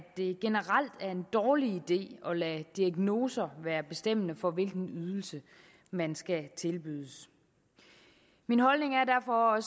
det generelt er en dårlig idé at lade diagnoser være bestemmende for hvilken ydelse man skal tilbydes min holdning er derfor